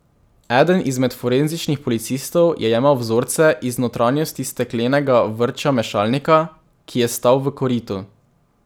Eden izmed forenzičnih policistov je jemal vzorce iz notranjosti steklenega vrča mešalnika, ki je stal v koritu.